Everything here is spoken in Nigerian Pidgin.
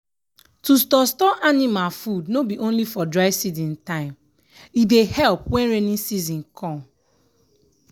to store store anima food no bi only for dry season time e dey help wen raining season come.